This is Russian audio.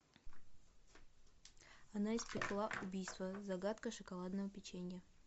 она испекла убийство загадка шоколадного печенья